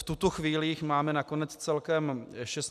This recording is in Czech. V tuto chvíli jich máme nakonec celkem 16 kusů.